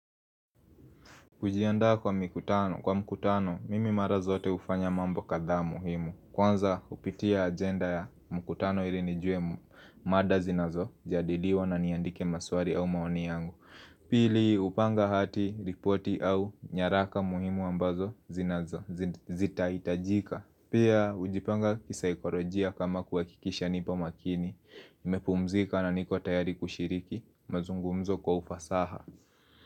Ujianda kwa mkutano, kwa mkutano, mimi mara zote ufanya mambo katha muhimu Kwanza upitia agenda ya mkutano ili nijue mada zinazo, jadiliwa na niandike maswari au maoni yangu. Pili upanga hati, ripoti au nyaraka muhimu ambazo zinazo, zita itajika Pia ujipanga kisaikolojia kama kuwakikisha nipo makini, mepumzika na niko tayari kushiriki, mazungumzo kwa ufasaha.